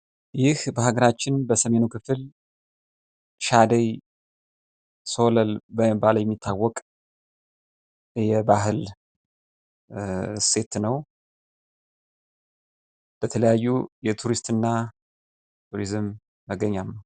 ይህ በሀገራችን በሰሜኑ ክፍል "ሻደይ ሶለል" በመባል የሚታወቅ የባህል እሴት ነው ፤ በተለያዩ የቱሪስት እና ቱሪዝም መገኛ ነው።